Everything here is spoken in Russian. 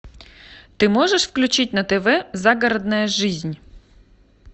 ты можешь включить на тв загородная жизнь